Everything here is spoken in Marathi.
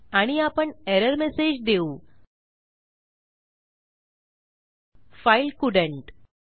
आणि आपण एरर मेसेज देऊ फाइल कोल्डंट